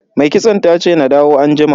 Mai kitson tace na dawo anjima.